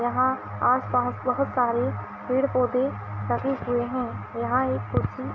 यहाँ आस पास बहोत सारे पेड़ पौधे लगे हुए हैं| यहाँ एक कुर्सी --